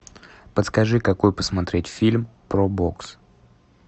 подскажи какой посмотреть фильм про бокс